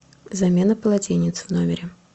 замена полотенец в номере